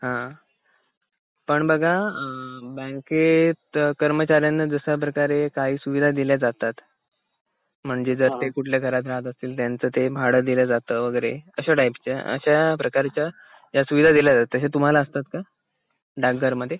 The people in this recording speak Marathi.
अ पण बघा अ बँकेत कर्मचाऱ्यांना जश्या प्रकारे काही सुविधा दिल्या जातात म्हणजे जर ते कुठल्या घरात राहत असतील त्याचं ते भाडं दिल जात वगैरे असं टाईपचा असं प्रकारचं त्या सुविधा दिल्या जातात हे तुम्हाला असतात का डाक घर मध्ये